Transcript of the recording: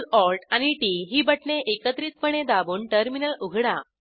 CtrlAlt आणि T T ही बटणे एकत्रितपणे दाबून टर्मिनल उघडा